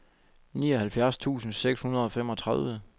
nioghalvfjerds tusind seks hundrede og femogtredive